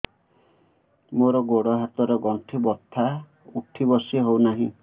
ମୋର ଗୋଡ଼ ହାତ ର ଗଣ୍ଠି ବଥା ଉଠି ବସି ହେଉନାହିଁ